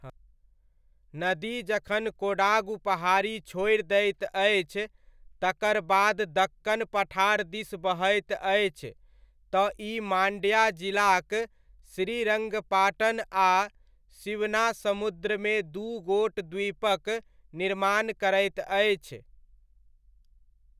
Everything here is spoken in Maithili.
नदी जखन कोडागु पहाड़ी छोड़ि दैत अछि तकर बाद दक्कन पठार दिस बहैत अछि तँ ई मान्ड्या जिलाक श्रीरङ्गपाटन आ शिवनासमुद्रमे दू गोट द्वीपक निर्माण करैत अछि।